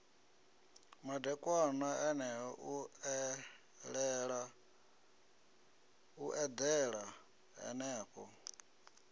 madekwana eneo u eḓela henefho